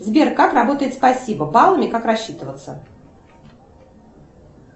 сбер как работает спасибо баллами как рассчитываться